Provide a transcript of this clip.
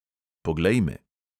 Poglej me.